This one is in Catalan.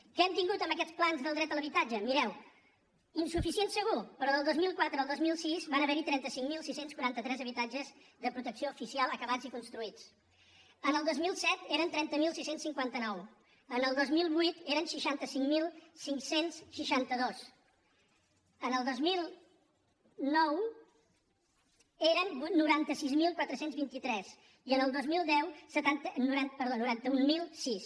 què hem tingut en aquests plans del dret a l’habitatge mireu insuficient segur però del dos mil quatre al dos mil sis van haver hi trenta cinc mil sis cents i quaranta tres habitatges de protecció oficial acabats i construïts el dos mil set n’eren trenta mil sis cents i cinquanta nou el dos mil vuit n’eren seixanta cinc mil cinc cents i seixanta dos el dos mil nou n’eren noranta sis mil quatre cents i vint tres i el dos mil deu noranta mil sis